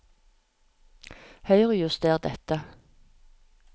Høyrejuster dette